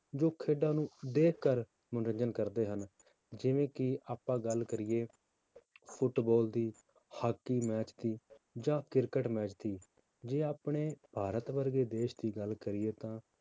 ਜੋ ਖੇਡਾਂ ਨੂੰ ਦੇਖ ਕਰ ਮਨੋਰੰਜਨ ਕਰਦੇ ਹਨ, ਜਿਵੇਂ ਕਿ ਆਪਾਂ ਗੱਲ ਕਰੀਏ ਫੁਟਬਾਲ ਦੀ ਹਾਕੀ match ਦੀ ਜਾਂ ਕ੍ਰਿਕਟ match ਦੀ ਜੇ ਆਪਣੇ ਭਾਰਤ ਵਰਗੇ ਦੇਸ ਦੀ ਗੱਲ ਕਰੀਏ ਤਾਂ